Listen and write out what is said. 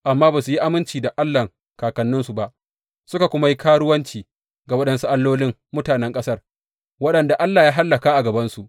Amma ba su yi aminci da Allahn kakanninsu ba, suka kuma yi karuwanci ga waɗansu allolin mutanen ƙasar, waɗanda Allah ya hallaka a gabansu.